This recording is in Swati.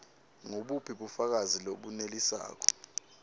ngubuphi bufakazi lobunelisako